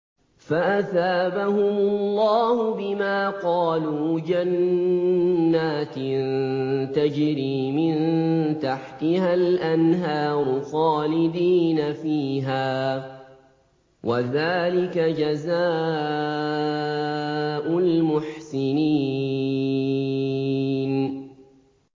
فَأَثَابَهُمُ اللَّهُ بِمَا قَالُوا جَنَّاتٍ تَجْرِي مِن تَحْتِهَا الْأَنْهَارُ خَالِدِينَ فِيهَا ۚ وَذَٰلِكَ جَزَاءُ الْمُحْسِنِينَ